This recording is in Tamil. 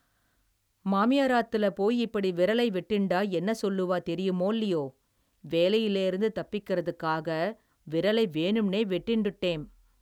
மாமியாராத்துல போய் இப்படி விரலை வெட்டிண்டா என்ன சொல்லுவா தெரியுமோல்லியோ வேலையிலேர்ந்து தப்பிக்கிறதுக்காக விரலை வேணும்னே வெட்டிண்டுட்டேம்.